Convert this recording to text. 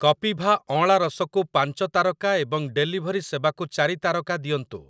କପିଭା ଅଁଳା ରସ କୁ ପାଞ୍ଚ ତାରକା ଏବଂ ଡେଲିଭରି ସେବାକୁ ଚାରି ତାରକା ଦିଅନ୍ତୁ ।